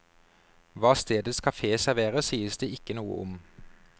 Hva stedets kafé serverer, sies det ikke noe om.